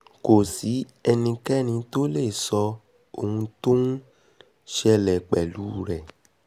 kò um sì sí ẹnikẹ́ni tó lè sọ um ohun tó ń um ṣẹlẹ̀ pẹ̀lú u rẹ̀